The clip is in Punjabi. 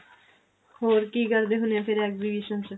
ਹੋਰ ਕੀ ਕਰਦੇ ਹੁਨੇ ਓ ਫਿਰ exhibition ਚ